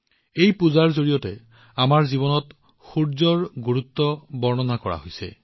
এই পূজাৰ জৰিয়তে আমাৰ জীৱনত সূৰ্যৰ পোহৰৰ গুৰুত্বৰ আলোকপাত কৰা হৈছে